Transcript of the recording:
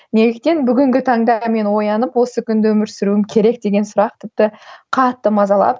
неліктен бүгінгі таңда мен оянып осы күнді өмір сүруім керек деген сұрақ тіпті қатты мазалап